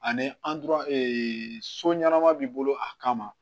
Ani an dur so ɲɛnɛma b'i bolo a kama